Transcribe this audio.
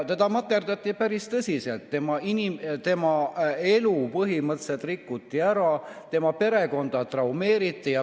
Teda materdati päris tõsiselt, tema elu põhimõtteliselt rikuti ära, tema perekonda traumeeriti.